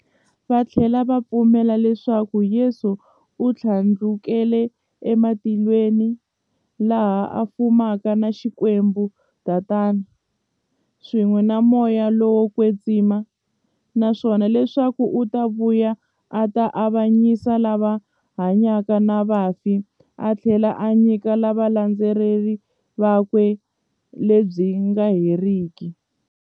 Vathlela va pfumela leswaku Yesu u thlandlukele e matilweni, laha a fumaka na Xikwembu-Tatana, swin'we na Moya lowo kwetsima, naswona leswaku u ta vuya a ta avanyisa lava hanyaka na vafi athlela a nyika valandzeri vakwe vutomi lebyi nga heriki.